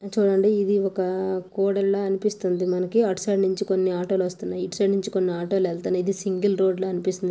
చూడండి ఇది ఒక కూడలిలా అనిపిస్తుంది. మనకి. అటు సైడ్ నుంచి కొన్ని ఆటో లు వస్తున్నాయి. ఇటు సైడ్ నుంచి కొన్ని ఆటో లు వెళ్తున్నాయి. ఇది సింగల్ రోడ్డు లా అనిపిస్తుంది.